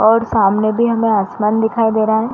और सामने भी हमें आसमान दिखाई दे रहा है।